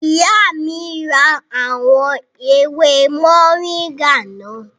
Ìyá mi ra àwọn ewé mọ̀ríńgà náà